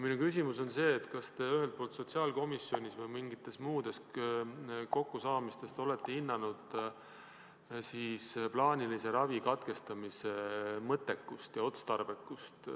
Minu küsimus on, kas te sotsiaalkomisjonis või mingitel muudel kokkusaamistel olete hinnanud plaanilise ravi katkestamise mõttekust ja otstarbekust.